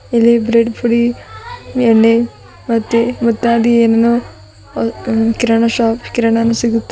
ಇಲ್ಲಿ ಬ್ರೀಡ್ ಪುರಿ ಎಣ್ಣೆ ಮುತ್ತಾದ ಏನನೋ ವ್ ಹೂ ಕಿರಣ ಶಾಪ್ ಕಿರಣ ಅನ್ ಸಿಗುತ್--